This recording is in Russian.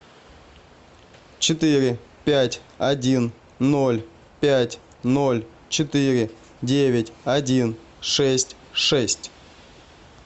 четыре пять один ноль пять ноль четыре девять один шесть шесть